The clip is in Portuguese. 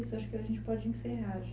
Isso, acho que a gente pode encerrar já.